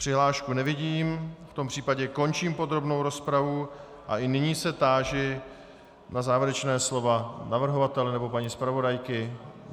Přihlášku nevidím, v tom případě končím podrobnou rozpravu a i nyní se táži na závěrečná slova navrhovatele nebo paní zpravodajky.